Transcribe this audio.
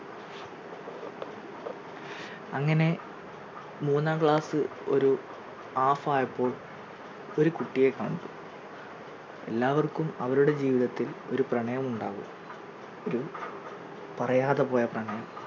അങ്ങനെ മൂന്നാം class ഒരു half ആയപ്പോൾ ഒരു കുട്ടിയെ കണ്ടു എല്ലാവർക്കും അവരുടെ ജീവിതത്തിൽ ഒരു പ്രണയം ഉണ്ടാവും ഒരു പറയാതെ പോയ പ്രണയം